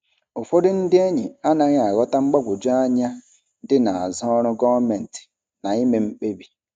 Ụfọdụ ndị enyi anaghị aghọta mgbagwoju anya dị n'azụ ọrụ gọọmentị na ime mkpebi.